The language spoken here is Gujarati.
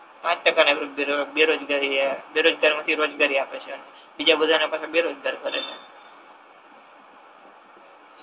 પાંચ ટકા ને બે બેરોજગારી એ બેરોજગારી માથી રોજગારી આપે છે બીજા બધા ને પાછા બેરોજગાર કરે છે